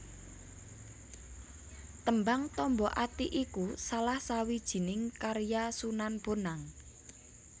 Tembang Tombo Ati iku salah sawijining karya Sunan Bonang